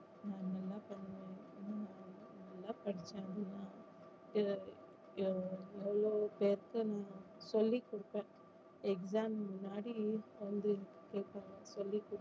நான் என்னெல்லாம் பண்ணுவேன் நல்லா படிப்பேன் அஹ் அஹ் எவ்ளோ பேருக்கு நான் சொல்லி கொடுத்தேன் exam முன்னாடி வந்து கேப்பாங்க சொல்லி கொடு